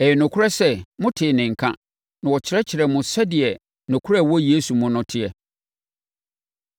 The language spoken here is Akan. Ɛyɛ nokorɛ sɛ motee ne nka, na wɔkyerɛkyerɛɛ mo sɛdeɛ nokorɛ a ɛwɔ Yesu mu no teɛ.